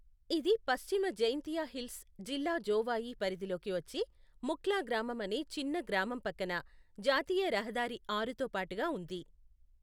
ఇది పశ్చిమ జైంతియా హిల్స్ జిల్లా జోవాయి పరిధిలోకి వచ్చే ముఖ్లా గ్రామం అనే చిన్న గ్రామం పక్కన జాతీయ రహదారి ఆరుతో పాటుగా ఉంది.